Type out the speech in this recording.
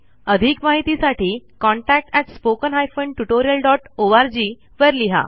अधिक माहितीसाठी कृपया contactspoken tutorialorg वर लिहा